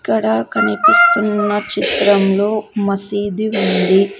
ఇక్కడ కనిపిస్తున్న చిత్రంలో మసీదు ఉంది.